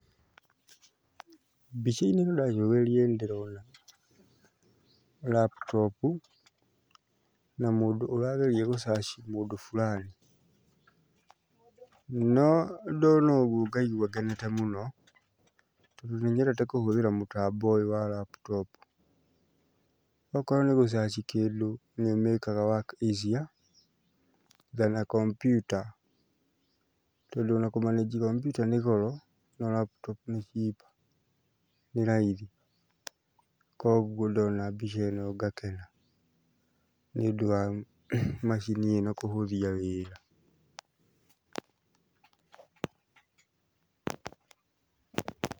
Mbica-inĩ ĩno ndacũthĩrĩria nĩndĩrona laptop u na mũndũ ũrageria gũcaci mũndũ burani. No ndona ũguo ngaigua ngenete mũno, tondũ nĩnyedete kũhũthĩra mũtambo ũyũ wa laptop. Okorwo nĩ gũcaci kĩndũ nĩũmĩkaga work easier than a computer. Tondũ ona kũmanĩnji kambiuta nĩ goro no raputopu nĩ cheap nĩ raithi, kuoguo ndona mbica ĩno ngakena nĩũndũ wa macini ĩno kũhũthia wĩra.